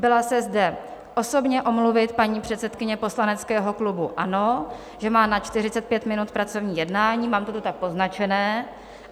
Byla se zde osobně omluvit paní předsedkyně poslaneckého klubu ANO, že má na 45 minut pracovní jednání, mám to tu tak poznačené.